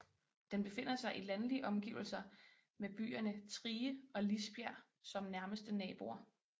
Den befinder sig i landlige omgivelser med byerne Trige og Lisbjerg som nærmeste naboer